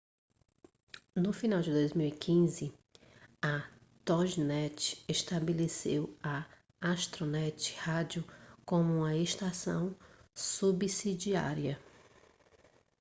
no final de 2015 a toginet estabeleceu a astronet radio como uma estação subsidiária